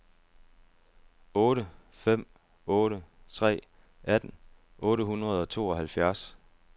otte fem otte tre atten otte hundrede og tooghalvfjerds